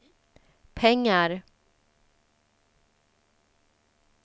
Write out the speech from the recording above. pengar